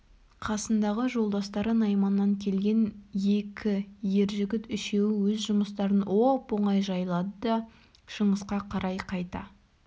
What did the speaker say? қасындағы жолдастары найманнан келген екі ер жігіт үшеуі өз жұмыстарын оп-оңай жайлады да шыңғысқа қарай қайта